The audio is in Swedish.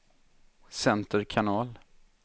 center kanal